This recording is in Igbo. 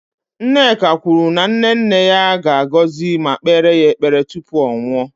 Nneka kwuru na nne nne ya ga-agọzi ma kpeere ya ekpere tupu ọ nwụọ